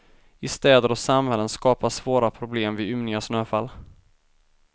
I städer och samhällen skapas svåra problem vid ymniga snöfall.